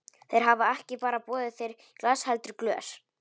Þeir hafa ekki bara boðið þér í glas heldur glös.